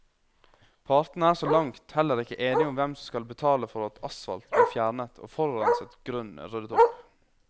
Partene er så langt heller ikke enige om hvem som skal betale for at asfalt blir fjernet og forurenset grunn ryddet opp.